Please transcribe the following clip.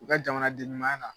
U ka jamana den ɲumanya la.